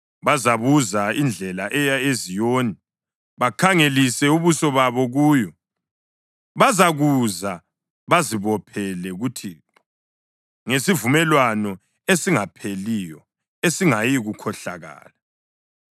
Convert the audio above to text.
Bazabuza indlela eya eZiyoni bakhangelise ubuso babo kuyo. Bazakuza bazibophele kuThixo ngesivumelwano esingapheliyo esingayikukhohlakala.